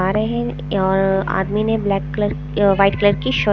आ रहे हैं और आदमी ने ब्लैक कलर वाइट कलर की शर्ट --